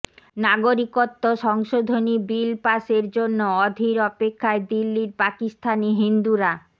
নাগরিকত্ব সংশোধনী বিল পাসের জন্য অধীর অপেক্ষায় দিল্লির পাকিস্তানি হিন্দুরা